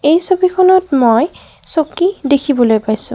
এই ছবিখনত মই চকী দেখিবলৈ পাইছোঁ।